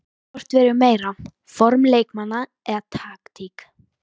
Hvort vegur meira, form leikmanna eða taktík?